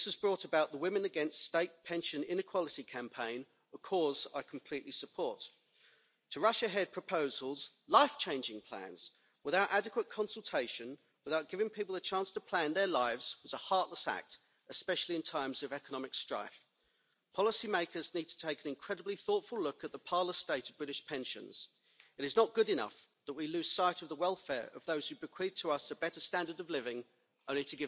What is needed in a proper pension debate in this Parliament is less ideology and more practicality. We have a falling birth rate, we have huge demographic changes, we have life expectancy, thankfully, growing, but we have less money being saved for the purposes of pensions, and we have huge varieties between Member States in terms of pension coverage.